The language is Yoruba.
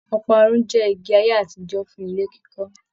Ọparun jẹ igi ayé àtijọ fún ilé kíkọ.